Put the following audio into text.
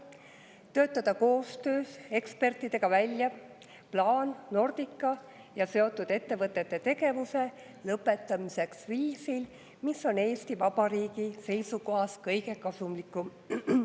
Töötada koostöös ekspertidega välja plaan Nordica ja seotud ettevõtete tegevuse lõpetamiseks viisil, mis on Eesti Vabariigi seisukohast kõige kasulikum.